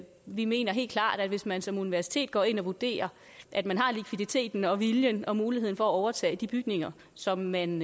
vi mener helt klart at hvis man som universitet går ind og vurderer at man har likviditeten og har viljen til og muligheden for at overtage de bygninger som man